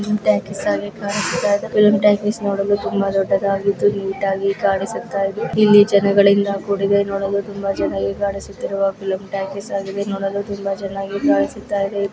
Film talkies ಆಗಿ ಕಾಣಿಸುತ್ತಾ ಇದೆ ಫಿಲಂ ಟಾಕೀಸ್ ನೋಡಲು ತುಂಬಾ ದೊಡ್ಡದಾಗಿದ್ದು ನೀಟಾಗಿ ಕಾಣಿಸುತ್ತ ಇದೆ ಇಲ್ಲಿ ಜನಗಳಿಂದ ಕೂಡಿದೆ ತುಂಬಾ ಜನರು ಕಾಣಿಸುತ್ತಿರುವ ಫಿಲ್ಮ್ ಟಾಕೀಸ್ ಆಗಿದೆ ನೋಡಲು ತುಂಬಾ ಚೆನ್ನಾಗಿ ಕಾಣುತ್ತದೆ ಇದು .